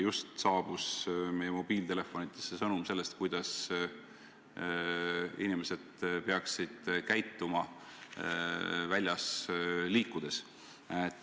Just saabus meie mobiiltelefonidesse sõnum, kuidas inimesed peaksid käituma väljas liikudes.